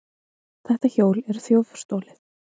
Þetta hjól er þjófstolið!